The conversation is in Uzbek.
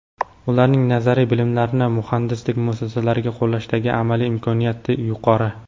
Ularning nazariy bilimlarni muhandislik masalalarida qo‘llashdagi amaliy imkoniyati yuqori.